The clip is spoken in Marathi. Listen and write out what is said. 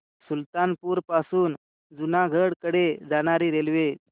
सुल्तानपुर पासून जुनागढ कडे जाणारी रेल्वे